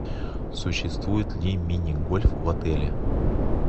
существует ли мини гольф в отеле